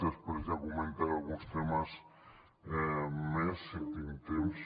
després ja comentaré alguns temes més si tinc temps